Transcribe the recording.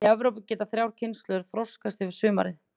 Í Evrópu geta þrjár kynslóðir þroskast yfir sumarið.